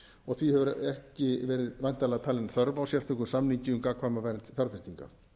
og því hefur ekki verið væntanlega talin þörf á sérstökum samningi um gagnkvæma vernd fjárfestinga